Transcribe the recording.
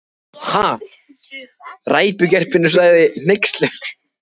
Hann tútnar út af hneykslun: En þú reykir aldrei!